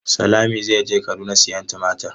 Salami zai je Kaduna siyan tumatir.